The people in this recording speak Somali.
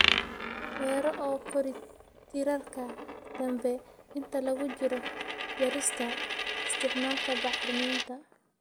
beero oo kori tiirarka dambe inta lagu jiro jarista. Isticmaalka bacriminta